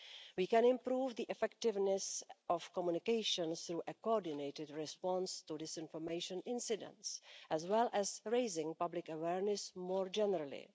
We can improve the effectiveness of communication through a coordinated response to disinformation incidents, as well as raising public awareness more generally.